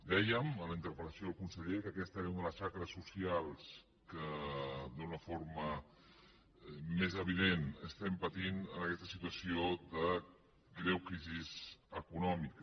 dèiem en la interpel·lació al conseller que aquesta era una de les xacres socials que d’una forma més evident estem patint en aquesta situació de greu crisi econòmica